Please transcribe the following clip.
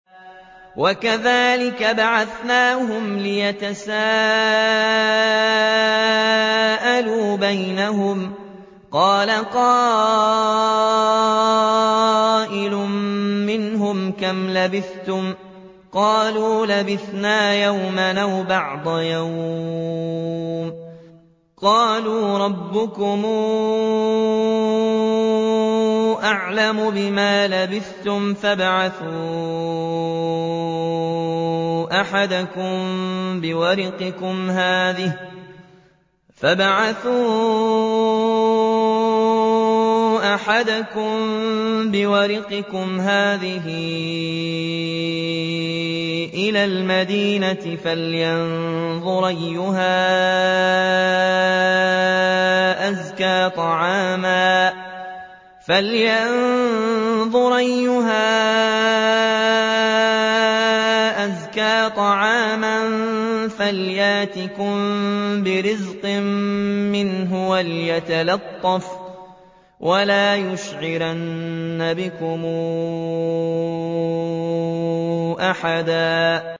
وَكَذَٰلِكَ بَعَثْنَاهُمْ لِيَتَسَاءَلُوا بَيْنَهُمْ ۚ قَالَ قَائِلٌ مِّنْهُمْ كَمْ لَبِثْتُمْ ۖ قَالُوا لَبِثْنَا يَوْمًا أَوْ بَعْضَ يَوْمٍ ۚ قَالُوا رَبُّكُمْ أَعْلَمُ بِمَا لَبِثْتُمْ فَابْعَثُوا أَحَدَكُم بِوَرِقِكُمْ هَٰذِهِ إِلَى الْمَدِينَةِ فَلْيَنظُرْ أَيُّهَا أَزْكَىٰ طَعَامًا فَلْيَأْتِكُم بِرِزْقٍ مِّنْهُ وَلْيَتَلَطَّفْ وَلَا يُشْعِرَنَّ بِكُمْ أَحَدًا